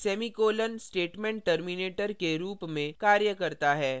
जैसा कि मैंने पहले कहा कि semicolon statement terminator के रूप में कार्य करता है